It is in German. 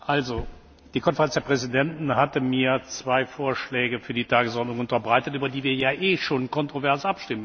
Die Konferenz der Präsidenten hatte mir zwei Vorschläge für die Tagesordnung unterbreitet, über die wir ja eh schon kontrovers abstimmen müssten.